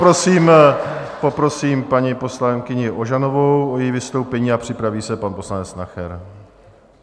Poprosím paní poslankyni Ožanovou o její vystoupení a připraví se pan poslanec Nacher.